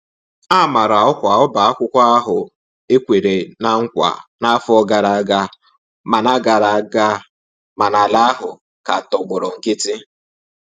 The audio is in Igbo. A mara ọkwa ọba akwụkwọ ahụ e kwere ná nkwa n'afọ gara aga, mana gara aga, mana ala ahụ ka tọgbọrọ nkiti.